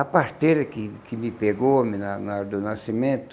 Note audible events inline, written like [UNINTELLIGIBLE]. A parteira que que me pegou [UNINTELLIGIBLE] na hora do nascimento,